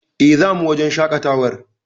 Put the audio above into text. E, zamu wajen shaƙatawar.